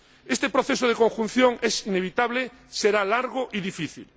Este proceso de conjunción inevitablemente será largo y difícil.